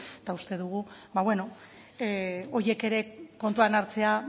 eta uste dugu ba bueno horiek ere kontuan hartzea